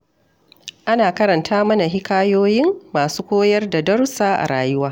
Ana karanta mana hikayoyin masu koyar da darussa a rayuwa